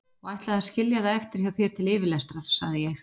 Og ætlaði að skilja það eftir hjá þér til yfirlestrar, sagði ég.